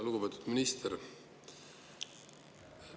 Lugupeetud minister!